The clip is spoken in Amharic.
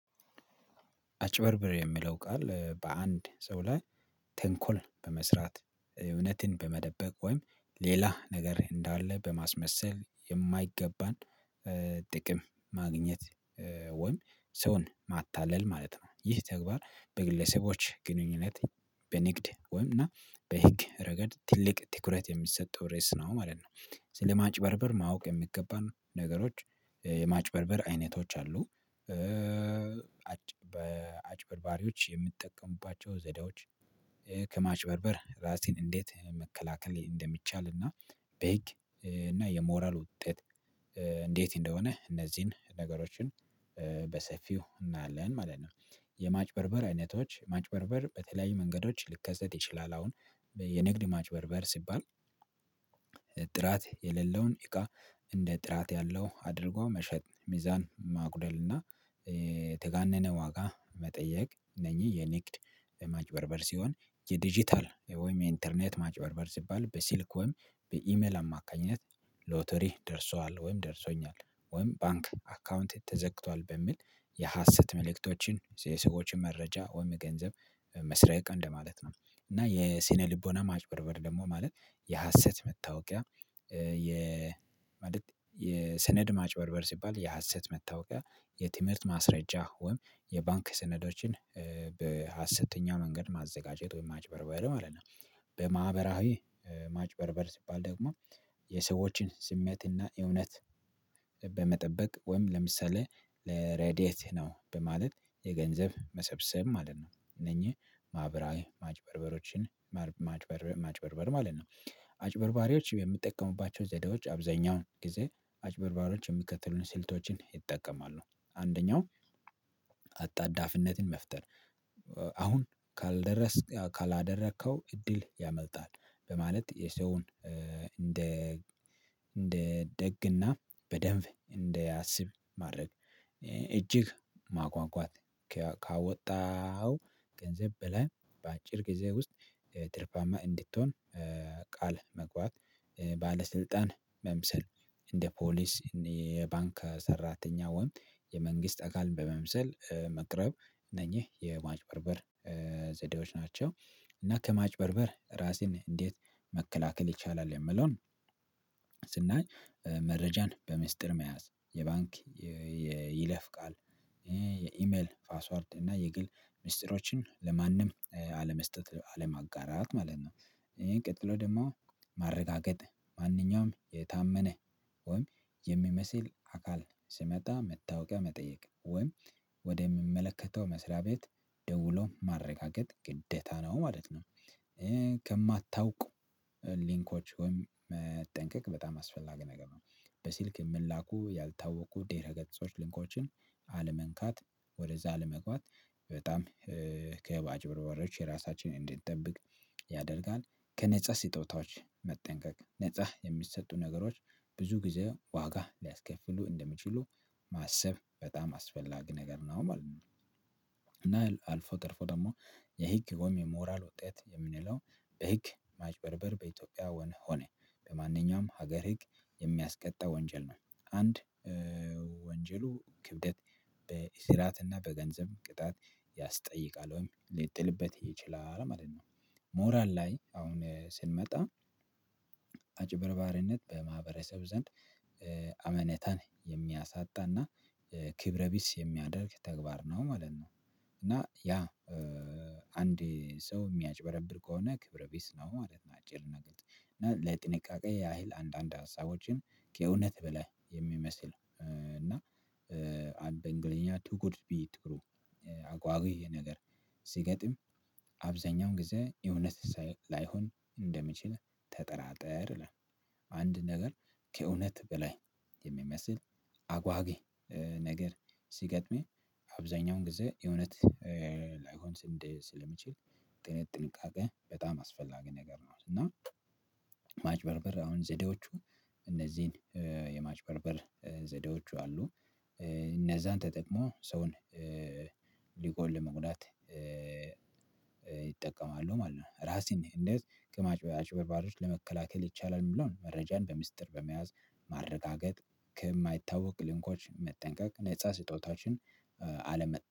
አጭበርብር የሚለው ቃል በአንድ ሰው ላይ ተንኮል በመስራት እውነትን በመደበቅ ወይም ሌላ ነገር እንዳለ በማስመሰል የማይገባን ጥቅም ማግኘት ወይም ሰውን ማታለል ማለት ነው። ይህ ተግባር በግለሰቦች ግንኙነት በንግድ ወይም እና በህግ ረገድ ትልቅ ትኩረት የሚሰጠው ሬስ ነው ማለት ነው። ስለማጭበርበር ማወቅ የሚገባን ነገሮች የማጭበርበር አይነቶች አሉ። በአጭበርባሪዎች የምትጠቀሙባቸው ዘዴዎች ከማጭበርበር ራሴን እንዴት መከላከል እንደሚቻል እና በህግ እና የሞራል ውጤት እንዴት እንደሆነ እነዚህን ነገሮችን በሰፊው እናለን ማለት ነው። የማጭበርበር አይነቶች ማጭበርበር በተለያዩ መንገዶች ልከሰት ይችላል። አሁን የንግድ ማጭበርበር ሲባል። ጥራት የሌለውን እቃ እንደ ጥራት ያለው አድርጎ መሸጥ ሚዛን ማጉደል እና የተጋነነ ዋጋ መጠየቅ እነኚህ የንግድ ለማጭበርበር ሲሆን። የዲጂታል ወይም ኢንተርኔት ማጭበርበር ሲባል በሲልክ ወይም በኢሜል አማካኝነት ሎተሪ ደርሷል ወይም ደርሶኛል ወይም ባንክ አካውንት ተዘግቷል በሚል የሀሰት መልእክቶችን የሰዎችን መረጃ ወይም ገንዘብ መስረቅ እንደማለት ነው። እና የስነ ልቦና ማጭበርበር ደግሞ ማለት የሀሰት መታወቂያ የ ማለት የሰነድ ማጭበርበር ሲባል የሀሰት መታወቂያ የትምህርት ማስረጃ ወይም የባንክ ስነዶችን በሀሰተኛ መንገድ ማዘጋጀት ወይም ማጭበርበር ማለት ነው። በማህበራዊ ማጭበርበር ሲባል ደግሞ የሰዎችን ስሜትና እውነት በመጠበቅ ወይም ለምሳሌ ለሬዲየት ነው በማለት የገንዘብ መሰብሰብ ማለት ነው እነኚህ ማህበራዊ ማጭበርበሮችን። ማጭበርበር ማለት ነው። አጭበርባሪዎች የሚጠቀሙባቸው ዘዴዎች አብዛኛውን ጊዜ አጭበርባሮች የሚከተሉንን ስልቶችን ይጠቀማሉ። አንደኛው አጣዳፊነትን መፍጠር አሁን ካልደረስክ ካላደረከው እድል ያመልጣል። በማለት የሰውን እንደ እንደ ደግና በደንብ እንደ አስብ ማድረግ እጅግ ማጓጓት ካወጣው ገንዘብ በላይ በአጭር ጊዜ ውስጥ ትርፋማ እንድትሆን ቃል መግባት ባለስልጣን መምሰል እንደ ፖሊስ የባንክ ሰራተኛ ወንድ የመንግስት አካል በመምሰል መቅረብ እነኝህ የማጭበርበር ዘዴዎች ናቸው። እና ከማጭበርበር ራሴን እንዴት መከላከል ይቻላል? የምለውን ስናይ መረጃን በምስጢር መያዝ የባንክ የይለፍቃል የኢሜል ፓስዋርድ እና የግል ሚስጥሮችን ለማንም አለመስጠት አለማጋራት ማለት ነው። ቀጥሎ ደግሞ ማረጋገጥ ማንኛውም የታመነ ወይም የሚመስል አካል ሲመጣ መታወቂያ መጠየቅ ወይም ወደ ሚመለከተው መስሪያ ቤት ደውሎ ማረጋገጥ ግደታ ነው ማለት ነው። ከማታውቁ ሊንኮች መጠንቀቅ በጣም አስፈላጊ ነገር ነው። በሲልክ የምንላኩ ያልታወቁ ዴረ ገጽቶች ሊንኮችን አለመንካት ወደዛ አለመግባት በጣም ከአጭበርባሪዎች የራሳችንን እንድንጠብቅ ያደርጋል። ከነፃ ስጦታዎች መጠንቀቅ ነፃ የሚሰጡ ነገሮች ብዙ ጊዜ ዋጋ ሊያስከፍሉ እንደሚችሉ ማሰብ በጣም አስፈላጊ ነገር ነው ማለት። ነው አልፎ ተርፎ ደግሞ የህግ ወይም የሞራል ወጤት የምንለው በህግ ማጭበርበር በኢትዮጵያ ሆነ በማንኛውም ሀገር ህግ የሚያስቀጣ ወንጀል ነው። አንድ ወንጀሉ ክብደት በእስራትና በገንዘብ ቅጣት ያስጠይቃል ወይም ሊጥልበት እየችላለሁ ማለት ነው። ሞራል ላይ አሁን ስንመጣ አጭበርባርነት በማህበረሰብ ዘንድ አመነታን የሚያሳጣና ክብረ ቢስ የሚያደርግ ተግባር ነው ማለት ነው። እና ያ አንድ ሰው የሚያጭበረብር ከሆነ ክብረ ቢስ ነው ማለት ነው። አጭር ነገር እና ለጥንቃቄ ያህል አንዳንድ ሀሳቦችን ከእውነት በላይ የሚመስል እና በእንግሊዝኛ ቱ ጉድ ቢ ትሩ አጓጊ ነገር ሲገጥም አብዛኛው ጊዜ የእውነት ሳላይሆን እንደሚችል ተጠራጠር ይላል አንድ ነገር ከእውነት በላይ የሚመስል አጓጊ ነገር ሲገጥመኝ አብዛኛውን ጊዜ የእውነት ላይሆን ስንዴ ስለሚችል ጥን ጥንቃቄ በጣም አስፈላጊ ነገር ነው። እና አሁን ዘዴዎቹ እነዚህን የማጭበርበር ዘዴዎቹ አሉ። እነዛን ተጠቅሞ ሰውን ሊቆል ለመጉዳት ይጠቀማሉ ማለት ነው። ራሴን እንደዚህ ከማጭ አጭበርባሪዎች ለመከላከል ይቻላል የሚለውን መረጃን በሚስጥር በመያዝ ማረጋገጥ ከማይታወቅ ሊንኮች መጠንቀቅ ነፃ ስጦታችን አለመ